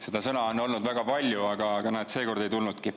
Seda sõna on olnud väga palju, aga näed, seekord ei tulnudki.